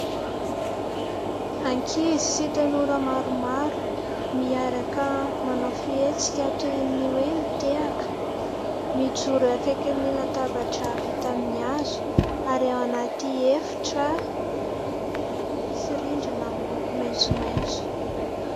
Ankizy sy tanora maromaro miaraka manao fihetsika toy ny hoe : mitehaka, mijoro akaikin'ny latabatra vita amin'ny hazo ary ao anaty efitra misy rindrina amin'ny loko maitsomaitso.